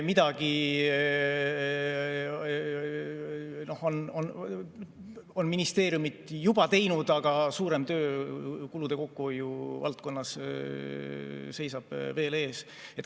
Midagi on ministeeriumid juba teinud, aga suurem töö kulude kokkuhoiu valdkonnas seisab veel ees.